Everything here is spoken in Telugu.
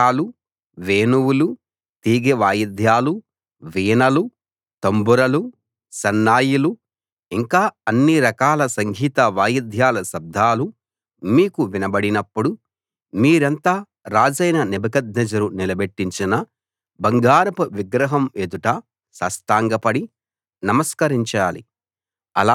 బాకాలు వేణువులు తీగె వాయిద్యాలు వీణలు తంబురలు సన్నాయిలు ఇంకా అన్ని రకాల సంగీత వాయిద్యాల శబ్దాలు మీకు వినబడినప్పుడు మీరంతా రాజైన నెబుకద్నెజరు నిలబెట్టించిన బంగారపు విగ్రహం ఎదుట సాష్టాంగపడి నమస్కరించాలి